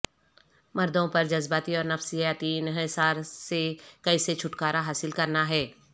مردوں پر جذباتی اور نفسیاتی انحصار سے کیسے چھٹکارا حاصل کرنا ہے